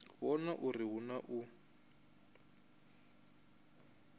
vhona uri hu na u